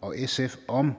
og sf om